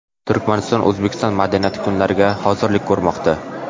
Turkmaniston O‘zbekiston madaniyati kunlariga hozirlik ko‘rmoqda.